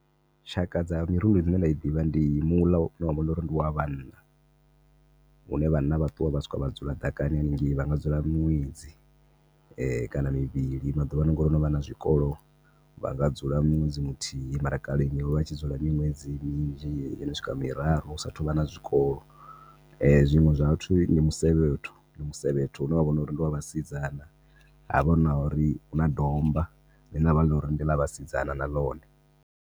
Tshaka dza mirundu dzine nda dzi ḓivha ndi muḽa une wavha uri ndi wa vhanna hune vhanna vha ṱuwa vha swika vha dzula ḓakani hanengei vhanga dzula miṅwedzi kana mivhili. Maḓuvhano ngauri ho novha na zwikolo vhanga dzula ṅwedzi muthuhi mara kale vha tshi dzula miṅwedzi minzhi yono swika miraru hu sathu vha na zwikolo zwiṅwe zwa vhathu ndi musevhetho ndi musevhetho une wa vha uri ndi wa vhasidzana hafha nauri huna domba hune hafha uri ndi ḽa vhasidzana na ḽone.